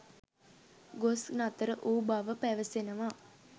ගොස් නතර වූ බව පැවසෙනවා.